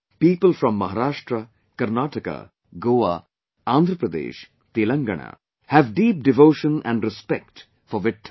People from Maharashtra, Karnataka, Goa, Andhra Pradesh, Telengana have deep devotion and respect for Vitthal